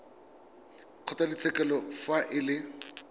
wa kgotlatshekelo fa e le